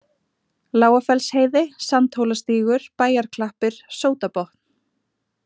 Lágafellsheiði, Sandhólastígur, Bæjarklappir, Sótabotn